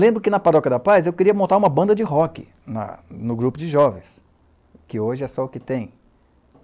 Lembro que, na Paróquia da Paz, eu queria montar uma banda de rock na no grupo de jovens, que hoje é só o que tem.